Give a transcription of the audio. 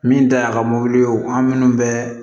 Min ta y'a ka mobili ye an minnu bɛ